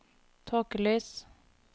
tåkelys